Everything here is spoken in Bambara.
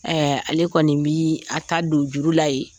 ale kɔni bɛ a ta don juru la ye